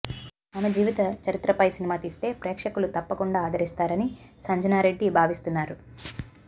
ఆమె జీవిత చరిత్రపై సినిమా తీస్తే ప్రేక్షకులు తప్పకుండా ఆదరిస్తారని సంజన రెడ్డి భావిస్తున్నారు